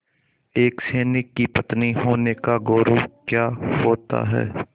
एक सैनिक की पत्नी होने का गौरव क्या होता है